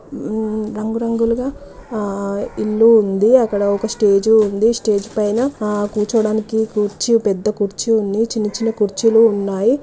ఉమ్ రంగు రంగులుగా ఆ ఇల్లు ఉంది. అక్కడ ఒక స్టేజ్ ఉంది. స్టేజ్ పైన ఆ కూర్చోడానికి కుర్చీ పెద్ద కుర్చీ ఉంది. చిన్న చిన్న కుర్చీలు ఉన్నాయ్.